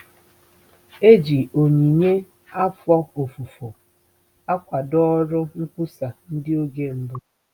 E ji onyinye afọ ofufo akwado ọrụ nkwusa ndị oge mbụ.